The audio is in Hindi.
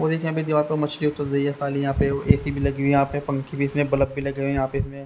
और एक यहां पे दीवार पे मछली उतर रही है साली यह पे ए_सी भी लगे हुए है यहां पे पंखे भी इसमें बल्ब भी लगे हुए यहां पे इसमें--